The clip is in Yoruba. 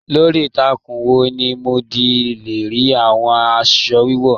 Lórí ìtàkùn wo ni mo di le rí àwọn aṣọ wiwọ?